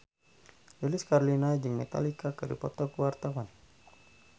Lilis Karlina jeung Metallica keur dipoto ku wartawan